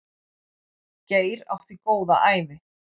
Geir átti góða ævi.